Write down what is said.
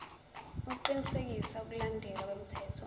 ukuqinisekisa ukulandelwa kwemithetho